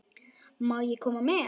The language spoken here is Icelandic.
Má ég koma með?